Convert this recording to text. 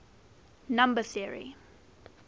number theory